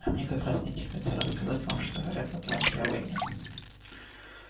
а мне как раз не терпится рассказать вам что говорят в атланте о войне